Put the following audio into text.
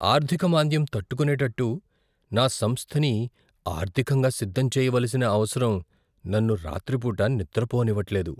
ఆర్థిక మాంద్యం తట్టుకునెట్టటు నా సంస్థని ఆర్ధికంగా సిద్ధం చేయవలసిన అవసరం నన్ను రాత్రిపూట నిద్రపోనివ్వట్లేదు.